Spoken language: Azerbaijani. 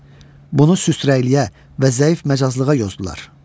Bunu süstrəkliyə və zəif məcazlığa yozdular.